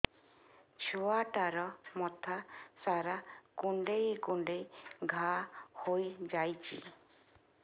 ଛୁଆଟାର ମଥା ସାରା କୁଂଡେଇ କୁଂଡେଇ ଘାଆ ହୋଇ ଯାଇଛି